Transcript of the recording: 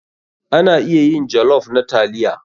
Ana iya yin jollof na taliya.